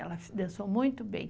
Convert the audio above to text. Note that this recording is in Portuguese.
Ela dançou muito bem.